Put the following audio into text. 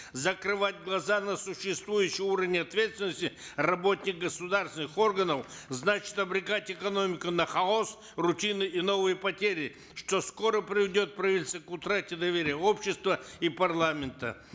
закрывать глаза на существующий уровень ответственности работников государственных органов значит обрекать экономику на хаос рутины и новые потери что скоро приведет правительство к утрате доверия общества и парламента